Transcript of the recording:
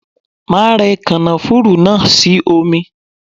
Máa rẹ kànáfùrú náà sí omi.